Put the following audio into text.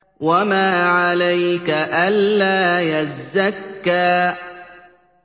وَمَا عَلَيْكَ أَلَّا يَزَّكَّىٰ